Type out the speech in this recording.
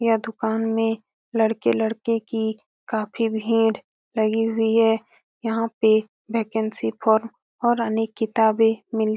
यह दुकान में लड़के-लड़की की काफी भीड़ लगी हुई हैं यहाँ पे वैकेंसी फॉर्म और अनेक किताबे मिलती हैं।